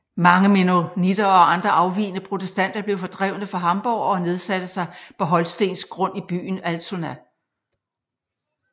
Mange mennonitter og andre afvigende protestanter blev fordrevne fra Hamborg og nedsatte sig på holstensk grund i byen Altona